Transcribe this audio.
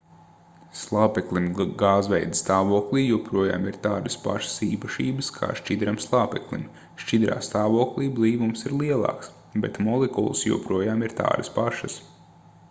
slāpeklim gāzveida stāvoklī joprojām ir tādas pašas īpašības kā šķidram slāpeklim šķidrā stāvoklī blīvums ir lielāks bet molekulas joprojām ir tādas pašas